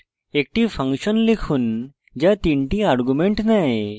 একটি ফাংশন লিখুন যা 3 টি arguments নেয়